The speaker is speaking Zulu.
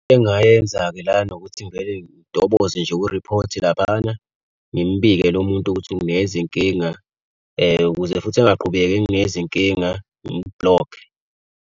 Engayenza-ke la ukuthi ngivele ngitoboze nje kuriphothi laphayana ngimbike lo muntu ukuthi ungnikeza inkinga ukuze futhi angaqhubeki enginikeze inkinga ngimu-block-e.